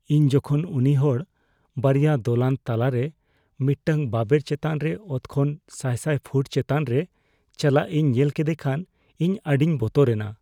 ᱤᱧ ᱡᱚᱠᱷᱚᱱ ᱩᱱᱤ ᱦᱚᱲ ᱵᱟᱨᱭᱟ ᱫᱚᱞᱟᱱ ᱛᱟᱞᱟᱨᱮ ᱢᱤᱫᱴᱟᱝ ᱵᱟᱵᱮᱨ ᱪᱮᱛᱟᱱ ᱨᱮ ᱚᱛ ᱠᱷᱚᱱ ᱥᱟᱭ ᱥᱟᱭ ᱯᱷᱩᱴ ᱪᱮᱛᱟᱱ ᱨᱮ ᱪᱟᱞᱟᱜ ᱤᱧ ᱧᱮᱞ ᱠᱮᱫᱮ ᱠᱷᱟᱱ ᱤᱧ ᱟᱹᱰᱤᱧ ᱵᱚᱛᱚᱨᱮᱱᱟ ᱾